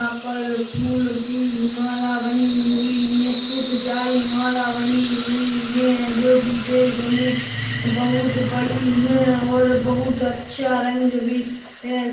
यहाँ पर फूलो की माला बनी हुई है बहुत सारी माला बनी हुई है जोकि देखने में बहुत बड़ी है और बहुत अच्छा रंग भी है।